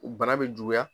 Bana bɛ juguya